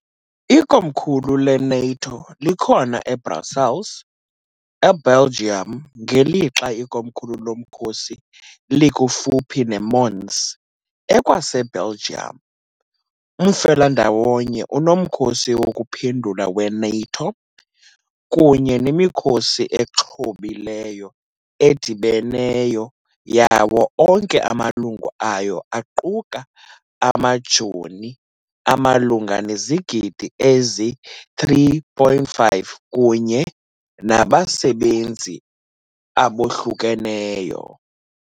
Ikomkhulu le-NATO likhona eBrussels, eBelgium, ngelixa ikomkhulu lomkhosi likufuphi neMons, ekwaseBelgium. Umfelandawonye unoMkhosi wokuPhendula we-NATO kunye nemikhosi exhobileyo edibeneyo yawo onke amalungu ayo aquka amajoni amalunga nezigidi ezi-3.5 kunye nabasebenzi abohlukeneyo.